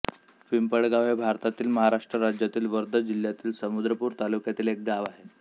पिंपळगाव हे भारतातील महाराष्ट्र राज्यातील वर्धा जिल्ह्यातील समुद्रपूर तालुक्यातील एक गाव आहे